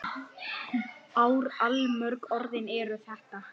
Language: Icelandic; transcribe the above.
Þetta eru orðin allmörg ár.